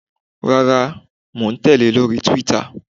Rárá, mò ń tèlé lórí Twitter.